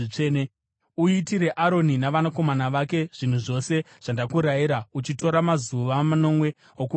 “Uitire Aroni navanakomana vake zvinhu zvose zvandakakurayira, uchitora mazuva manomwe okuvagadza.